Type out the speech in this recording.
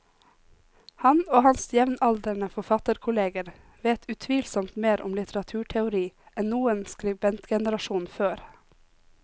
Han og hans jevnaldrende forfatterkolleger vet utvilsomt mer om litteraturteori enn noen skribentgenerasjon før.